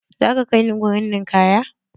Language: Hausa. Za ka kai ni wurin ninkaya?